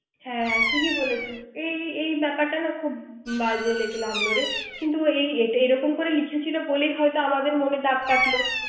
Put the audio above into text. হ্যাঁ ঠিকই বলেছিস এই এই ব্যাপারটা না বাজে লাগলো রে কিন্তু এরকম করে লিখেছিল বলেই আমাদের মনে দাগ কাটলো